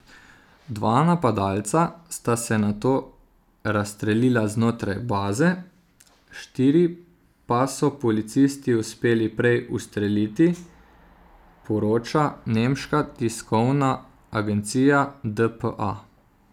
Dva napadalca sta se nato razstrelila znotraj baze, štiri pa so policisti uspeli prej ustreliti, poroča nemška tiskovna agencija dpa.